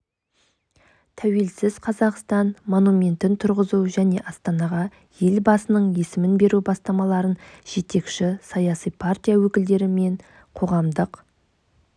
тәуелсіз қазақстан монументін тұрғызу және астанаға елбасының есімін беру бастамаларын жетекші саяси партия өкілдері мен қоғамдық